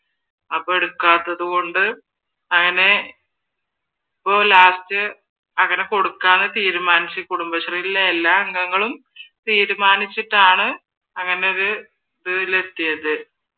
അപ്പൊ എടുക്കാത്തത് കൊണ്ട് അങ്ങനെ അപ്പൊ ലാസ്‌റ് അങ്ങനെ കൊടുക്കാന്ന് തീരുമാനിച്ചു കുടുംബശ്രീയിലെ എല്ലാ അംഗങ്ങളും തിരുമാനിച്ചിട്ടാണ് അങ്ങനെ ഒരിതിൽ എത്തിയത്